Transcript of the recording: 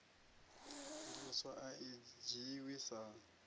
ndiliso a i dzhiiwi sa